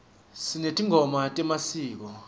sinetingoma temasiko